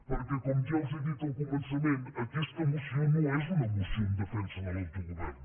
perquè com ja els he dit al començament aquesta moció no és una moció en defensa de l’autogovern